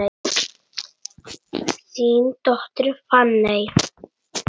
Þín dóttir, Fanney.